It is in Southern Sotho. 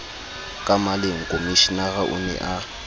ka maleng komishenara o ne